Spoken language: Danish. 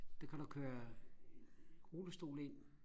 der kan du køre rullestol ind